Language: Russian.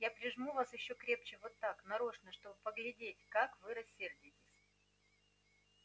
я прижму вас ещё крепче вот так нарочно чтобы поглядеть как вы рассердитесь